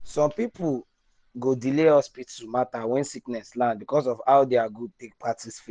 some people go delay hospital matter when sickness land because of how their group take practice faith.